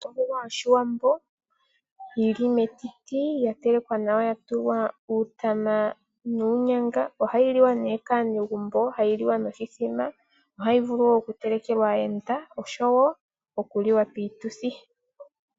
Ondjuhwa yoshiwambo yili metiti yatelekwa nawa, yatulwa uutama nuunyanga. Oha yiliwa nee kaanegumbo, hayi liwa noshithima, ohayi vulu wo okutelekelwa aayenda noshowo okuliwa piituthi.